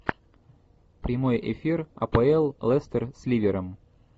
прямой эфир апл лестер с ливером